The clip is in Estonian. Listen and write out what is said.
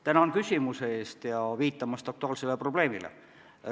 Tänan küsimuse eest ja viitamast aktuaalsele probleemile!